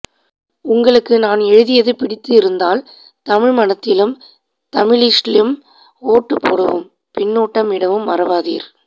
உங்களுக்கு நான் எழுதியது பிடித்து இருந்தால் தமிழ்மணத்திலும் தமிளிஷ்லிம் ஓட்டு போடவும் பின்னுட்டம் இடவும் மறவாதீர்